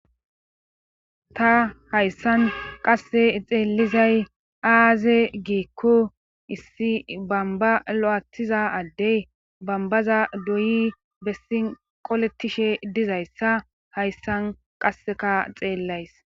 Ta hayssan qasse xeelizay aaze giekko issi bamba lo'atiza addey bambaza doyi bessi qoletishe dizayssa hayssan qasseka xeellays.